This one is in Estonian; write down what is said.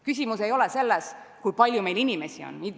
Küsimus ei ole selles, kui palju meil inimesi on.